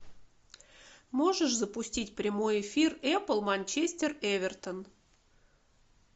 можешь запустить прямой эфир эпл манчестер эвертон